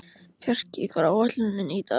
Fjarki, hvað er á áætluninni minni í dag?